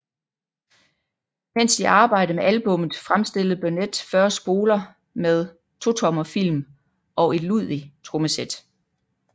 Mens de arbejdede med albummet fremstillede Burnett 40 spoler med totommer film og et Ludwig trommesæt